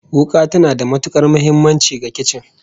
Wuka tana da matukar muhimmanci ga kicin